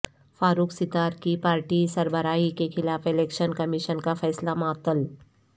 فاروق ستار کی پارٹی سربراہی کے خلاف الیکشن کمشن کا فیصلہ معطل